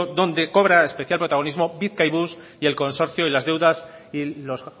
donde cobra especial protagonismo bizkaibus y el consorcio y las deudas y los